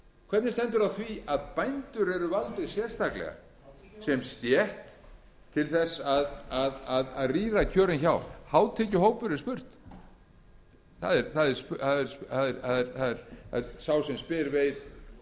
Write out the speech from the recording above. hvernig stendur á því að bændur eru valdir sérstaklega sem stétt til þess að rýra kjörin hjá hátekjuhópur er spurt sá sem spyr veit og er sammála mér um það að bændur eru engin hátekjustétt því